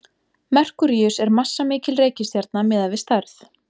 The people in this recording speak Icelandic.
merkúríus er massamikil reikistjarna miðað við stærð